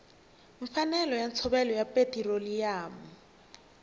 mfanelo ya ntshovelo ya petiroliyamu